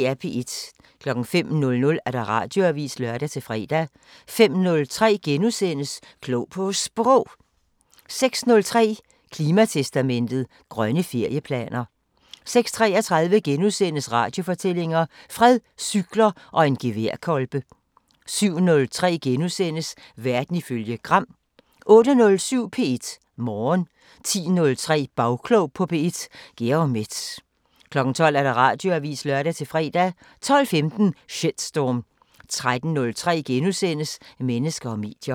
05:00: Radioavisen (lør-fre) 05:03: Klog på Sprog * 06:03: Klimatestamentet: Grønne ferieplaner 06:33: Radiofortællinger: Fred, cykler og en geværkolbe * 07:03: Verden ifølge Gram * 08:07: P1 Morgen 10:03: Bagklog på P1: Georg Metz 12:00: Radioavisen (lør-fre) 12:15: Shitstorm 13:03: Mennesker og medier *